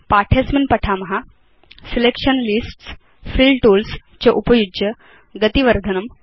अस्मिन् पाठे वयं पठिष्याम सिलेक्शन लिस्ट्स् फिल टूल्स् च उपयुज्य गति वर्धनम्